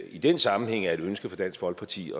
i den sammenhæng er et ønske fra dansk folkeparti